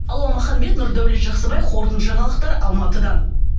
алуа маханбет нұрдәулет жақсыбай қорытынды жаңалық алматыдан